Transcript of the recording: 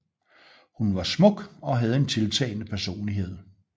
Hun var smuk og havde en tiltalende personlighed